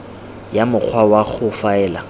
ya mokgwa wa go faela